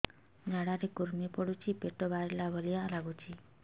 ଝାଡା ରେ କୁର୍ମି ପଡୁଛି ପେଟ ବାହାରିଲା ଭଳିଆ ଲାଗୁଚି